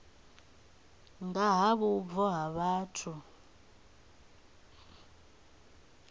nga ha vhubvo ha vhathu